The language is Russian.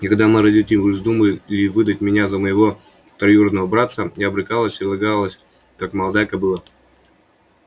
и когда мои родители вздумали выдать меня за моего троюродного братца я брыкалась и лягалась как молодая кобыла